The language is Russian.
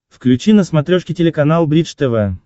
включи на смотрешке телеканал бридж тв